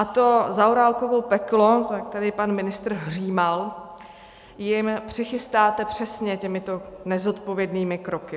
A to Zaorálkovo peklo, jak tady pan ministr hřímal, jim přichystáte přesně těmito nezodpovědnými kroky.